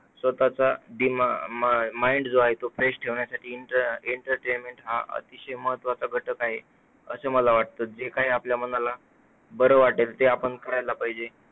स्वतःचा mind जो आहे तो fresh ठेवण्यासाठी enter entertainment हा अतिशय महत्त्वाचा घटक आहे. असे मला वाटते. जे काही आपल्या मनाला बरं वाटेल ते आपण करायला पाहिजे.